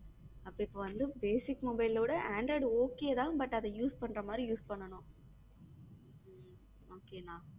அப்போ இப்போ வந்த basic mobile ல விட android okay தான் but அதை use பண்ற மாதிரி use பண்ணனும் okay அண்ணா.